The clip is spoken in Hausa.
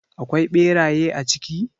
Akwai beraye a ciki?